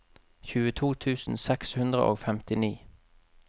tjueto tusen seks hundre og femtini